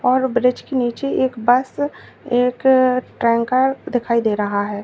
और ब्रिज के नीचे एक बस एक टैंकर दिखाई दे रहा है।